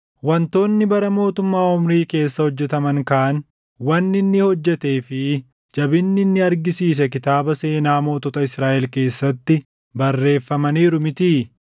Wantoonni bara mootummaa Omrii keessa hojjetaman kaan, wanni inni hojjetee fi jabinni inni argisiise kitaaba seenaa mootota Israaʼel keessatti barreeffamaniiru mitii?